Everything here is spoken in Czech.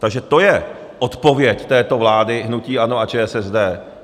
Takže to je odpověď této vlády hnutí ANO a ČSSD.